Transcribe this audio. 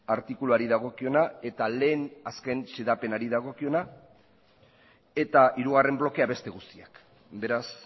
artikuluari dagokiona eta lehen azken xedapenari dagokiona eta hirugarren blokea beste guztiak beraz